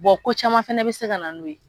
ko caman fana bɛ se ka na n'o ye